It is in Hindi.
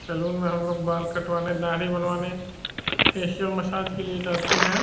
सैलून में हम लोग बाल कटवाने दाढ़ी बनवाने फेशियल मसाज के लिए जाते हैं।